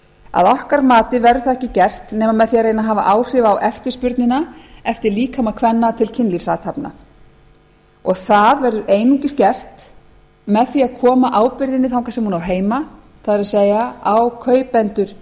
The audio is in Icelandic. að okkar mati verður það ekki gert nema með því að reyna að hafa áhrif á eftirspurnina eftir líkama kvenna til kynlífsathafna það verður einungis gert með því að koma ábyrgðinni þangað sem hún á heima það er á kaupendur